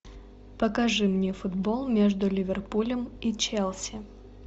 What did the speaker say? покажи мне футбол между ливерпулем и челси